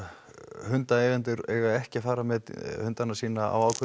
hundaeigendur eiga ekki að fara með hundana sína á ákveðnum